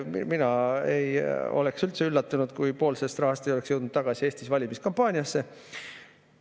Mina ei oleks üldse üllatunud, kui pool sellest rahast oleks jõudnud tagasi Eestisse valimiskampaaniasse.